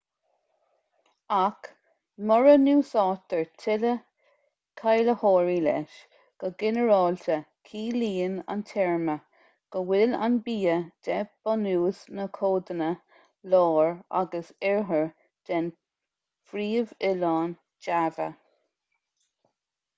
ach mura n-úsáidtear tuilleadh cáilitheoirí leis go ginearálta ciallaíonn an téarma go bhfuil an bia de bhunús na codanna láir agus oirthir den phríomhoileán java